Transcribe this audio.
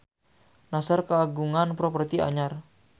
Nassar kagungan properti anyar